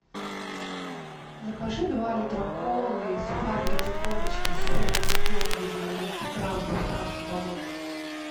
закажи два литра колы и сухарики три корочки с сыром и семгой девяносто грамм с доставкой домой